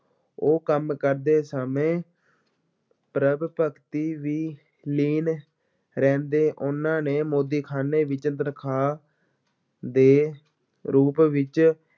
ਉਹ ਕੰਮ ਕਰਦੇ ਸਮੇਂ ਪ੍ਰਭੂ-ਭਗਤੀ ਵੀ ਲੀਨ ਰਹਿੰਦੇ, ਉਹਨਾਂ ਨੇ ਮੋਦੀਖਾਨੇ ਵਿੱਚ ਤਨਖਾਹ ਦੇ ਰੂਪ ਵਿੱਚ